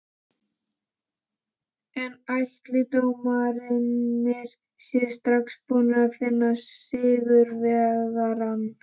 En ætli dómararnir séu strax búnir að finna sigurvegarann?